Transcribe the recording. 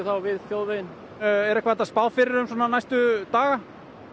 við þjóðveginn er eitthvað hægt að spá fyrir um næstu daga